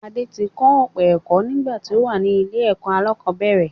Adé ti kọ́ ọ̀pọ̀ ẹ̀kọ́ nígbà tí ó wà ní ilé-ẹ̀kọ́ aláàkọ́bẹ̀rẹ̀